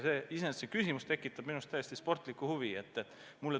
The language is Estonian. Iseenesest see küsimus tekitab minus täiesti sportlikku huvi.